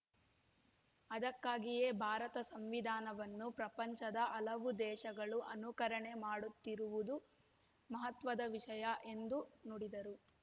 ಅದಕ್ಕಾಗಿಯೇ ಭಾರತ ಸಂವಿಧಾನವನ್ನು ಪ್ರಪಂಚದ ಹಲವು ದೇಶಗಳು ಅನುಕರಣೆ ಮಾಡುತ್ತಿರುವುದು ಮಹತ್ವದ ವಿಷಯ ಎಂದು ನುಡಿದರು